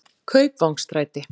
Kaupvangsstræti